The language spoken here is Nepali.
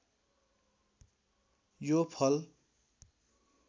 यो फल